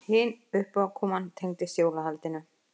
Hin uppákoman tengdist jólahaldinu.